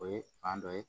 O ye fan dɔ ye